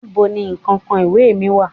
níbo ni kankan iwe mi wa?